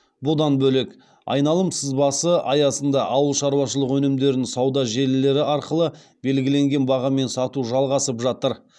бұдан бөлек айналым сызбасы аясында ауылшаруашылық өнімдерін сауда желілері арқылы белгіленген бағамен сату жалғасып жатыр